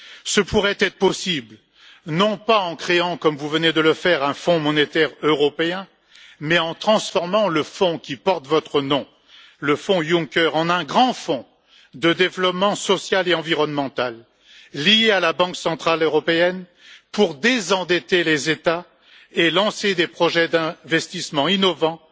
Ce pourrait être possible, non pas en créant comme vous venez de le faire un Fonds monétaire européen, mais en transformant le fonds qui porte votre nom, le Fonds Juncker, en un grand fonds de développement social et environnemental lié à la Banque centrale européenne, pour désendetter les États et lancer des projets d'investissement innovants,